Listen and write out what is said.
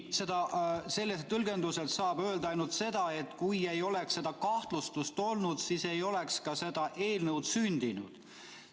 Seda tõlgendades saab öelda ainult seda, et kui ei oleks seda kahtlustust olnud, siis ei oleks ka seda eelnõu sündinud.